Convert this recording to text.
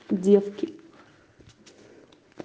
девки